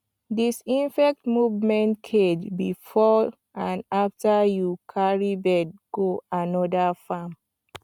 disinfect movement cage before and after you carry bird go another farm